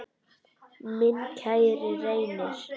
Minn kæri Reynir.